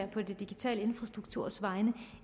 på de digitale infrastrukturers vegne